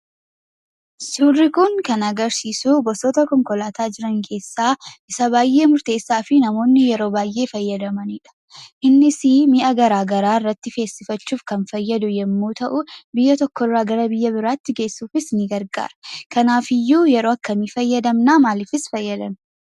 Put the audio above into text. Suurri kun kan agarsiisu gosoota konkolaataa jiran keessaa isa baay'ee murteessaa fi namoonni yeroo baay'ee fayyadamanidha. Innisii mi'a garaa garaa irratti feesifachuuf kan fayyadu yommuu ta'u biyya tokkorraa gara biyya biraatti geessuufis ni gargaara , Kanaafiyyuu yeroo akkamii fayyadamna? Maaliifis fayyadamna?